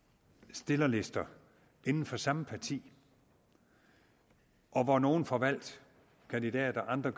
stillerlister inden for samme parti og at nogle får valgt kandidater og andre